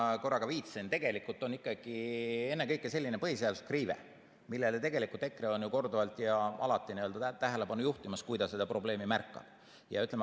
Ma korra ka viitasin, et tegelikult on ikkagi ennekõike selline põhiseaduslik riive, millele EKRE ju korduvalt ja alati tähelepanu juhib, kui ta seda probleemi märkab.